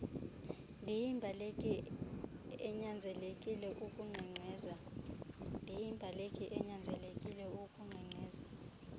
ndiyimbaleki enyanzelekile ukunkqenkqeza